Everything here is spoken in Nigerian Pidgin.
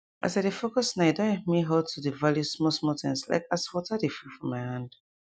as i dey focus nowe don help me halt to dey value small small things like as water dey feel for my hand